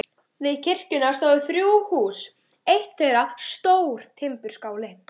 Við kirkjuna stóðu þrjú hús, eitt þeirra stór timburskáli.